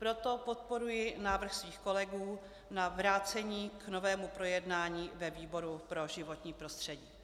Proto podporuji návrh svých kolegů na vrácení k novému projednání ve výboru pro životní prostředí.